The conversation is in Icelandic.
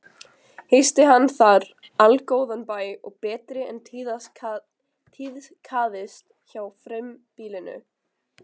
Hýsti hann þar allgóðan bæ og betri en tíðkaðist hjá frumbýlingum.